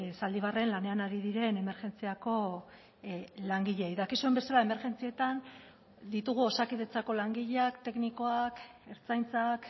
zaldibarren lanean ari diren emergentziako langileei dakizuen bezala emergentzietan ditugu osakidetzako langileak teknikoak ertzaintzak